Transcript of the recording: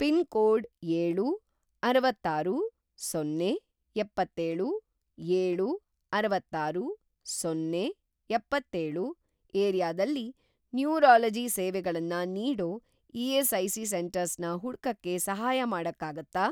Pin code ಏಳು, ಅರವತ್ತಾರು, ಸೊನ್ನೆ, ಎಪ್ಪತ್ತೆಳು ಏಳು, ಅರವತ್ತಾರು, ಸೊನ್ನೆ, ಎಪ್ಪತ್ತೆಳು ಏರಿಯಾದಲ್ಲಿ ನ್ಯೂರಾಲಜಿ ಸೇವೆಗಳನ್ನ ನೀಡೋ ಇ.ಎಸ್.ಐ.ಸಿ. ಸೆಂಟರ್ಸ್‌ನ ಹುಡ್ಕಕ್ಕೆ ಸಹಾಯ ಮಾಡಕ್ಕಾಗತ್ತಾ?